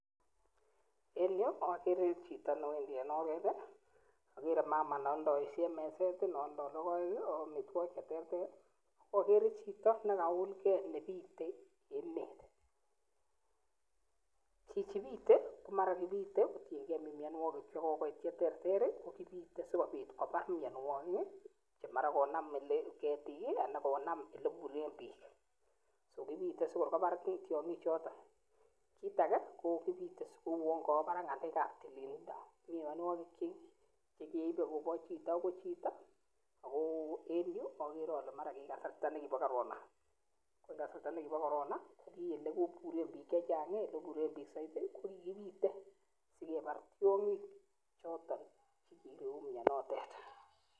En yu akere chito newendi en oret , akere mama nealdaishen meset nealda lokoek , ak amitwokik cheterter , akere chito neka ulke nepite emet, chichi pite komara kopite kotienke myanwokik chekokoit cheter teter kipite sikopit kobar mnyanwokik che mara konam ketik ana konam ole buren pik , sokipite sikopar tiong'ik choto kit ake ko kipite si kouan kawa barak ng'alek ap tililda mi mnyanwokik che keipe koba chito kochito ako en yu koksarta ab corona ko olekipuren pik chechang kokikipite sikepar tionyik chota chikerue mnyanatet.